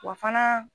Wa fana